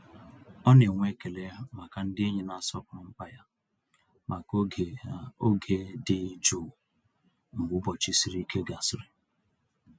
Ọ na-enwe ekele maka ndị enyi na-asọpụrụ mkpa ya maka oge oge dị jụụ mgbe ụbọchị siri ike gasịrị.